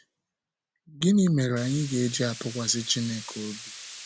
Gịnị mere anyị ga-eji atụkwasị Chineke obi?